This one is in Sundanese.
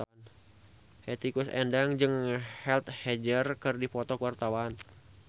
Hetty Koes Endang jeung Heath Ledger keur dipoto ku wartawan